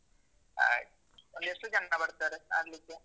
ಆಯ್ತು. ಒಂದು ಎಷ್ಟು ಜನ ಬರ್ತಾರೆ ಆಡ್ಲಿಕ್ಕೆ?